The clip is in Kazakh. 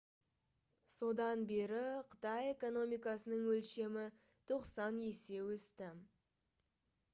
содан бері қытай экономикасының өлшемі 90 есе өсті